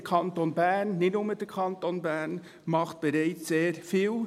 Der Kanton Bern, nicht nur der Kanton Bern, macht bereits sehr viel.